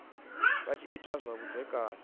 vha tshi ita zwa vhudzekani